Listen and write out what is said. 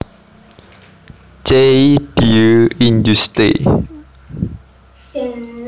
Ce Dieu injuste